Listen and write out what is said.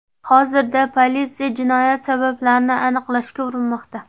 Hozirda politsiya jinoyat sabablarini aniqlashga urinmoqda.